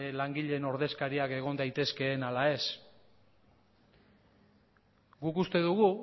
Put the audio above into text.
langileen ordezkariak egon daitezkeen ala ez